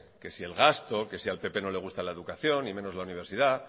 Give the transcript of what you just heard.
que si el gasto que si al pp no le gusta la educación y menos la universidad